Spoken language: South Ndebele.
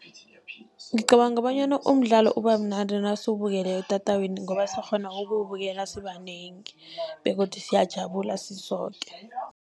Ngicabanga bonyana umdlalo ubamnandi nasiwubukele etatawini, ngoba siyakghona ukuwubukela sibanengi begodu siyajabula sisoke.